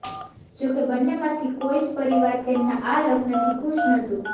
જો કે બન્નેમાંથી કોઈ જ પરિવાર તેમના આ લગ્નથી ખુશ નહોતું